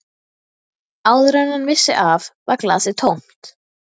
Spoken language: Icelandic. Áður en hann vissi af var glasið tómt.